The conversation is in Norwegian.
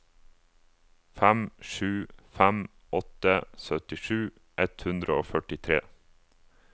fem sju fem åtte syttisju ett hundre og førtitre